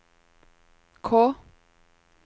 K